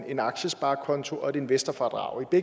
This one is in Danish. en aktiesparekonto og et investorfradrag det